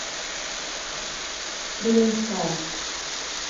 кременская